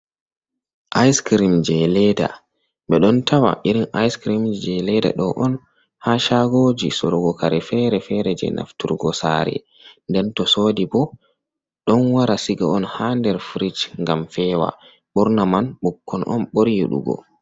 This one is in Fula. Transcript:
Ice-crem je leda ɓe ɗon tawa irin ice-crem je leda ɗo on ha shagoji sorugo kare fere-fere je nafturgo sare, ndento sodi bo ɗon wara siga on ha nder frijh ngam fewa ɓurna man ɓukkon on ɓuri yiɗugo.